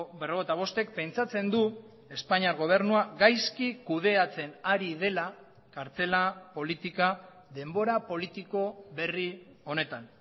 berrogeita bostek pentsatzen du espainiar gobernua gaizki kudeatzen ari dela kartzela politika denbora politiko berri honetan